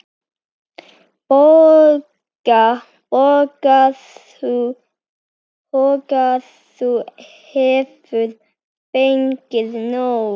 BOGGA: Þú hefur fengið nóg.